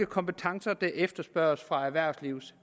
kompetencer der efterspørges fra erhvervslivets